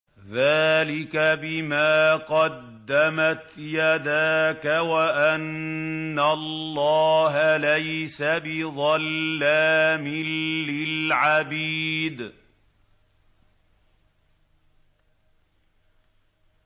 ذَٰلِكَ بِمَا قَدَّمَتْ يَدَاكَ وَأَنَّ اللَّهَ لَيْسَ بِظَلَّامٍ لِّلْعَبِيدِ